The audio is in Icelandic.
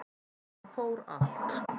Það fór allt